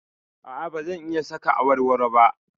A'a, ba zan iya saka awarwaro ba.